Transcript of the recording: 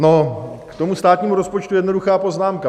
No, k tomu státnímu rozpočtu jednoduchá poznámka.